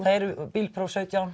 bílpróf sautján